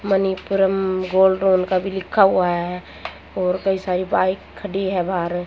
Manappuram gold loan का भी लिखा हुआ है और कई सारी बाइक खड़ी है बाहर।